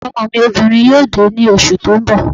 Ọmọ mi obìnrin yóò dé ní oṣù tó ń bọ̀